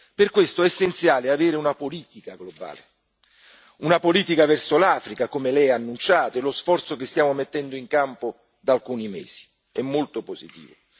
Per questo è essenziale avere una politica globale, una politica verso l'Africa, come lei ha annunciato, e lo sforzo che stiamo mettendo in campo da alcuni mesi è molto positivo.